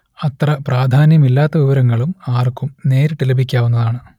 അത്ര പ്രാധാന്യമില്ലാത്ത വിവരങ്ങളും ആർക്കും നേരിട്ട് ലഭിക്കാവുന്നതാണ്